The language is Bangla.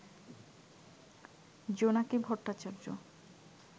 জোনাকি ভট্টাচার্য